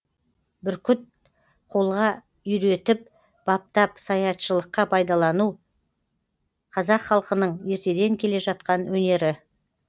бүркіт қолға үйретіп баптап саятшылыққа пайдалану қазақ халқының ертеден келе жатқан өнері